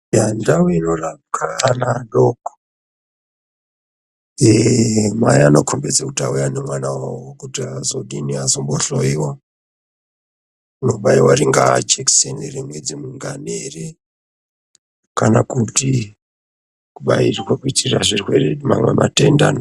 Ndau inorapirwa ana adoko mai vanokhombidza kuti vauya nemwana kutikunohloyiwa unobayiwa ingava jekiseni yemwedzi mingani kana kuti kubayirwa kuitire mamwe matenda.